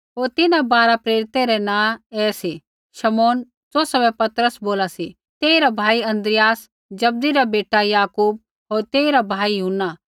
होर तिन्हां बारा प्रेरिता रै नाँ ऐ सी शमौन ज़ौसा बै पतरस बोला सी तेइरा भाई अन्द्रियास जब्दी रा बेटा याकूब होर तेइरा भाई यूहन्ना